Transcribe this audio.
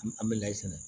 An bɛ layi sɛnɛ